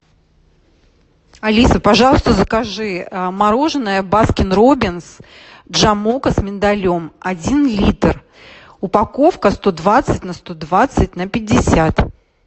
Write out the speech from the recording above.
алиса пожалуйста закажи мороженое баскин роббинс джамока с миндалем один литр упаковка сто двадцать на сто двадцать на пятьдесят